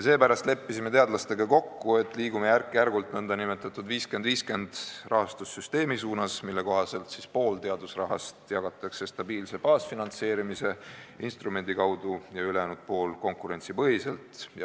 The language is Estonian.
Seepärast leppisime teadlastega kokku, et liigume järk-järgult nn 50 : 50 rahastussüsteemi suunas, mille kohaselt pool teadusrahast jagatakse stabiilse baasfinantseerimise instrumendi kaudu ja ülejäänud pool konkurentsipõhiselt.